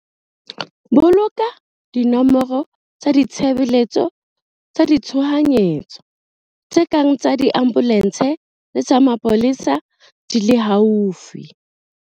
Boloka dinomoro tsa ditshebeletso tsa tshohanyetso tse kang tsa diambolense le tsa mapolesa di le haufi.